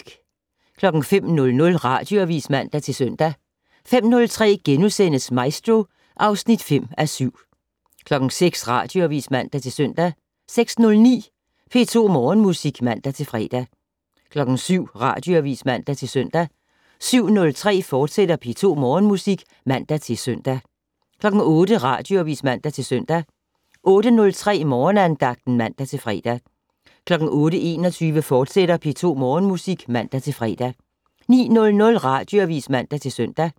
05:00: Radioavis (man-søn) 05:03: Maestro (5:7)* 06:00: Radioavis (man-søn) 06:09: P2 Morgenmusik (man-fre) 07:00: Radioavis (man-søn) 07:03: P2 Morgenmusik, fortsat (man-søn) 08:00: Radioavis (man-søn) 08:03: Morgenandagten (man-fre) 08:21: P2 Morgenmusik, fortsat (man-fre) 09:00: Radioavis (man-søn)